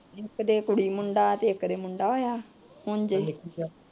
ਕੀ ਦੇ ਕੁੜੀ ਮੁੰਡਾ, ਤੇ ਇੱਕ ਦੇ ਮੁੰਡਾ ਹੋਇਆ।